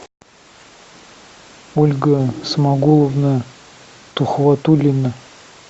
ольга смагуловна тухватуллина